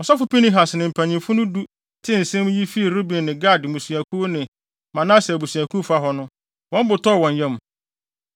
Ɔsɔfo Pinehas ne mpanyimfo du no tee nsɛm yi fii Ruben ne Gad mmusuakuw ne Manase abusuakuw fa hɔ no, wɔn bo tɔɔ wɔn yam.